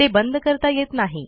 ते बंद करता येत नाही